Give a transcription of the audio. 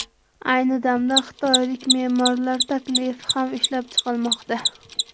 Ayni damda xitoylik me’morlar taklifi ham ishlab chiqilmoqda.